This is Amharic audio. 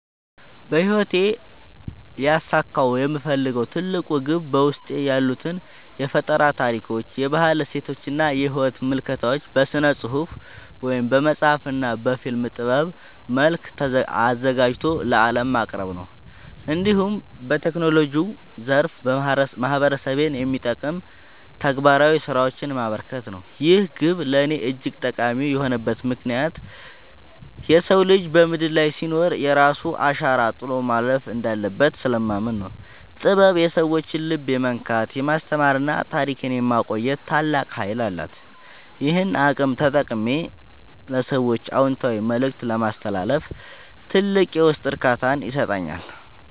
በሕይወቴ ሊያሳካው የምፈልገው ትልቁ ግብ በውስጤ ያሉትን የፈጠራ ታሪኮች፣ የባህል እሴቶችና የሕይወት ምልከታዎች በሥነ-ጽሑፍ (በመጽሐፍ) እና በፊልም ጥበብ መልክ አዘጋጅቶ ለዓለም ማቅረብ፣ እንዲሁም በቴክኖሎጂው ዘርፍ ማኅበረሰቤን የሚጠቅሙ ተግባራዊ ሥራዎችን ማበርከት ነው። ይህ ግብ ለእኔ እጅግ ጠቃሚ የሆነበት ምክንያት የሰው ልጅ በምድር ላይ ሲኖር የራሱን አሻራ ጥሎ ማለፍ እንዳለበት ስለማምን ነው። ጥበብ የሰዎችን ልብ የመንካት፣ የማስተማርና ታሪክን የማቆየት ታላቅ ኃይል አላት፤ ይህንን አቅም ተጠቅሜ ለሰዎች አዎንታዊ መልእክት ማስተላለፍ ትልቅ የውስጥ እርካታን ይሰጠኛል።